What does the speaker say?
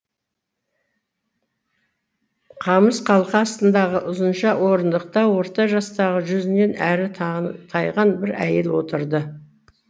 қамыс қалқа астындағы ұзынша орындықта орта жастағы жүзінен әрі тайған бір әйел отырды